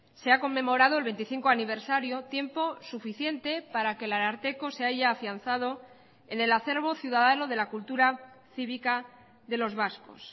se ha conmemorado el veinticinco aniversario tiempo suficiente para que el ararteko se haya afianzado en el acervo ciudadano de la cultura cívica de los vascos